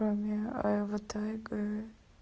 батарейка